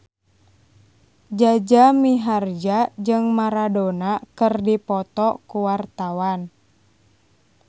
Jaja Mihardja jeung Maradona keur dipoto ku wartawan